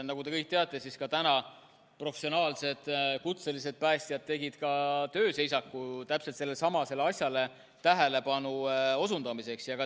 Nagu te kõik teate, siis täna professionaalsed, kutselised päästjad tegid tööseisaku täpselt sellelesamale asjale tähelepanu juhtimiseks.